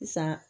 Sisan